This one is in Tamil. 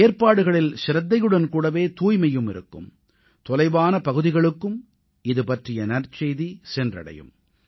ஏற்பாடுகளில் சிரத்தையுடன் கூடவே தூய்மையும் இருக்கும் தொலைவான பகுதிகளுக்கும் இதுபற்றிய நற்செய்தி சென்றடையும்